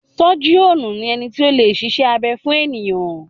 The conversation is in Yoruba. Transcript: Sọ́jíọ̀nù ni ẹni tí o lè ṣiṣẹ́ abẹ fún ènìyàn.